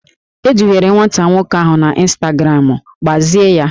E duhiere nwata nwoke ahụ na ịnstagramụ, gbazie ya!